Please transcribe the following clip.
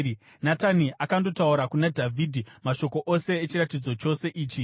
Natani akandotaura kuna Dhavhidhi mashoko ose echiratidzo chose ichi.